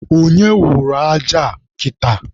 Onye wụrụ aja a kịta?